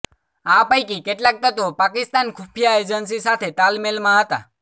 આ પૈકી કેટલાક તત્વો પાકિસ્તાન ખુફિયા એજન્સી સાથે તાલમેલમાં હતા